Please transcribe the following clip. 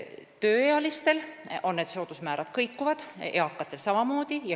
Tööealiste puhul need soodusmäärad kõiguvad, eakatel samamoodi.